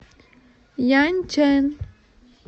яньчэн